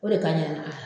O de ka ɲi a